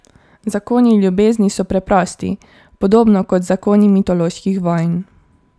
Zakoni ljubezni so preprosti, podobno kot zakoni mitoloških vojn.